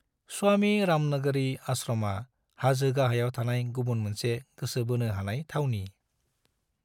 स्वामी रामनगिरी आश्रमा हाजो गाहायाव थानाय गुबुन मोनसे गोसो बोनो हानाय थावनि।